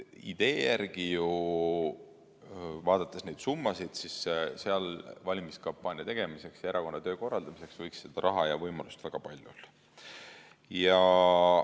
Idee järgi ju, vaadates neid summasid, võiks seal valimiskampaania tegemiseks ja erakonna töö korraldamiseks seda raha ja võimalust väga palju olla.